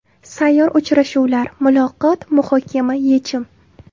Sayyor uchrashuvlar: muloqot, muhokama, yechim.